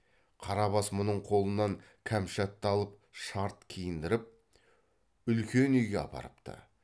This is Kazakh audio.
қарабас мұның қолынан кәмшатты алып шарт киіндіріп үлкен үйге апарыпты